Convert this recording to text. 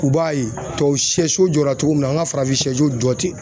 U b'a ye tubabu sɛso jɔra cogo min na, an ka farafin sɛso jɔ ten